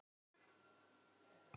Ég held að svo sé.